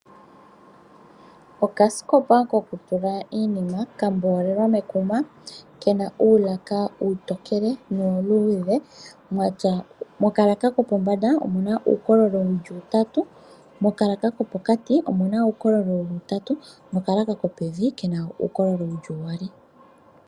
Okasikopa ko ku tula iinima kamboolelwa mekuma, kena uulaka uutokele nuuluudhe mokalaka kopombanda omuna uukololo wuli utatu, mokalaka kopokati kena uukololo wuli utatu nokalaka kopevi kena uukololo wuli uyali.